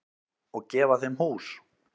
Og gefa þeim hús.